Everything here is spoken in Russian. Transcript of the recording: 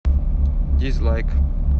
дизлайк